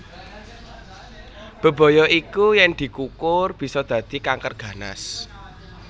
Bebaya iku yen dikukur bisa dadi kanker ganas